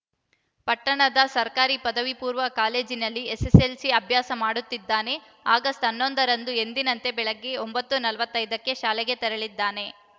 ಪಟ್ಟಣದ ಸರ್ಕಾರಿ ಪದವಿ ಪೂರ್ಣ ಕಾಲೇಜಿನಲ್ಲಿ ಎಸ್ಸೆಸ್ಸೆಲ್ಸಿ ಅಭ್ಯಾಸ ಮಾಡುತ್ತಿದ್ದಾನೆ ಆಗಸ್ಟ್ ಹನ್ನೊಂದರಂದು ಎಂದಿನಂತೆ ಬೆಳಗ್ಗೆ ಒಂಬತ್ತು ನಲವತ್ತ್ ಐದಕ್ಕೆ ಶಾಲೆಗೆ ತೆರಳಿದ್ದಾನೆ